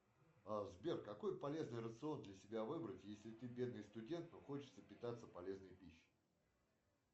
сбер какой полезный рацион для себя выбрать если ты бедный студент но хочется питаться полезной пищей